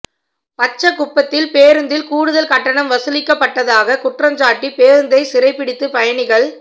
பச்சகுப்பத்தில் பேருந்தில் கூடுதல் கட்டணம் வசூலிக்கப்பட்டதாக குற்றஞ்சாட்டி பேருந்தை சிறைபிடித்து பயணிகள்